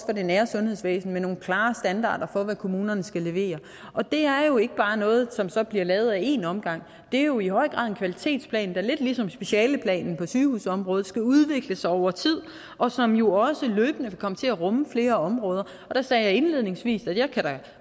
det nære sundhedsvæsen med nogle klare standarder for hvad kommunerne skal levere og det er jo ikke bare noget som så bliver lavet ad én omgang det er jo i høj grad en kvalitetsplan der lidt ligesom specialeplanen på sygehusområdet skal udvikle sig over tid og som jo også løbende vil komme til at rumme flere områder der sagde jeg indledningsvis at jeg da